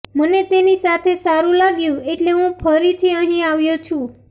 મને તેની સાથે સારૂં લાગ્યું એટલે હું ફરીથી અહીં આવ્યો છું